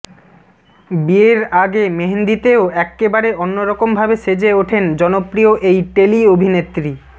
বিয়ের আগে মেহেন্দিতেও এক্কেবারে অন্যরকমভাবে সেজে ওঠেন জনপ্রিয় এই টেলি অভিনেত্রী